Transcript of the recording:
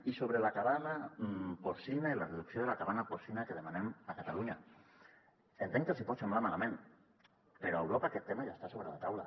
i sobre la cabana porcina i la reducció de la cabana porcina que demanem a catalunya entenc que els hi pot semblar malament però a europa aquest tema ja està sobre la taula